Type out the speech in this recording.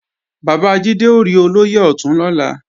Bàbá Jídé ó rí Olóyè Ọ̀tún lọ́la